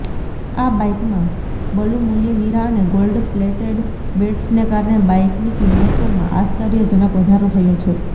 આ બાઈકમાં બલુમુલ્ય હિરા અને ગોલ્ડ પ્લેટેડ બેટસને કારણે બાઈકની કિંમતોમાં આશ્ચર્યજનક વધારો થયો છે